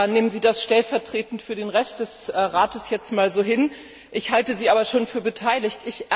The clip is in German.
Nehmen Sie das stellvertretend für den Rest des Rates jetzt mal so hin, aber ich halte Sie schon für beteiligt.